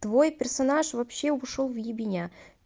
твой персонаж вообще ушёл в ебеня